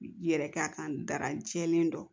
Yɛrɛ k'a kan dara jɛlen kɔ